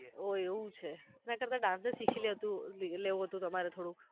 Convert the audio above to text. ઓહ એવુ છે એના કરતા dance જ શીખી લેતુ લેવો તો તમારે થોડુક